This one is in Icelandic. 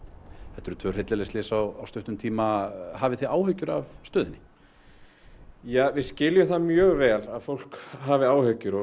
þetta eru tvö hryllileg slys á stuttum tíma hafið þið áhyggjur af stöðu við skiljum það mjög vel að fólk hafi áhyggjur og